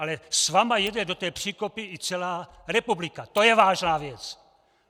Ale s vámi jede do toho příkopu i celá republika, to je vážná věc!